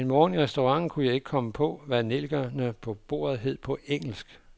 En morgen i restauranten kunne jeg ikke komme på, hvad nellikerne på bordet hed på engelsk.